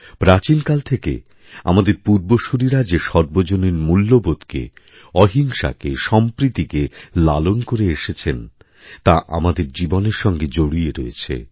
প্রাচীনকাল থেকে আমাদের পূর্বসূরীরাযে সর্বজনীন মূল্যবোধকে অহিংসাকে সম্প্রীতিকে লালন করে এসেছে তা আমাদের জীবনেরসঙ্গে জড়িয়ে রয়েছে